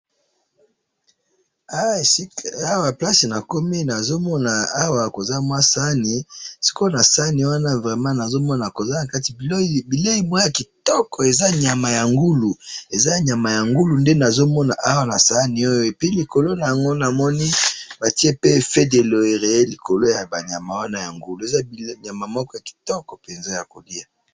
awa esika awa place nakomi nazomona awa koza mwa sahani sikoyo na sahani wana vremen nazomona koza nakati bileyi moko ya kitoko eza nyama ya ngulu eza nyama ya ngulu nde nazomona awa na sahani oyo epui likolo na yango namoni batiye pe feuille de loriye likolo yaba nyama wana ya ngulu .